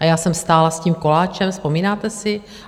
A já jsem stála s tím koláčem, vzpomínáte si?